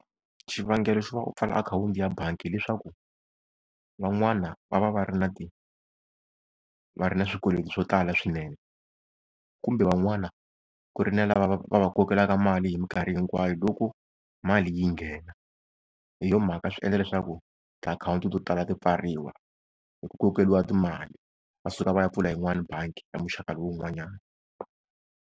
Xivangelo xo va u pfala akhawunti ya bangi hileswaku van'wana va va va ri na va ri na swikweleti swo tala swinene. Kumbe van'wana ku ri na lava va va, va va kokelaka mali hi minkarhi hinkwayo loko mali yi nghena. Hi yo mhaka swi endla leswaku tiakhawunti to tala ti pfariwa hi ku kokeriwa timali, va suka va ya pfula yin'wani bangi ya muxaka lowun'wanyani.